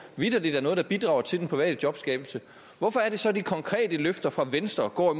vitterlig er noget der bidrager til den private jobskabelse hvorfor er det så at de konkrete løfter fra venstre går